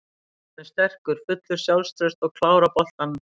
Hann er sterkur, fullur sjálfstrausts og klár á boltanum.